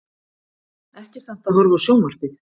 Ekki samt að horfa á sjónvarpið.